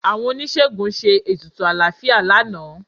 Àwọn oníṣègùn ṣe ètùtù àlàáfíà lánàá